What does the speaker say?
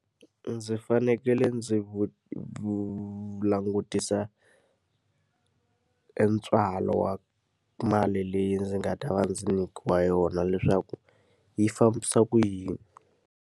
Ndzi fanekele ndzi langutisa e ntswalo wa mali leyi ndzi nga ta va ndzi nyikiwa yona leswaku yi fambisa ku yini.